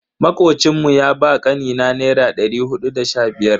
Makocin mu ya ba kanina naira dari hudu da sha biyar.